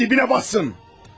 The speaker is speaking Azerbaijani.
Yerin dibinə batsın!